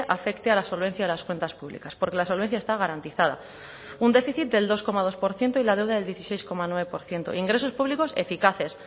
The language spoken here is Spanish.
afecte a la solvencia de las cuentas públicas porque la solvencia está garantizada un déficit del dos coma dos por ciento y la deuda del dieciséis coma nueve por ciento ingresos públicos eficaces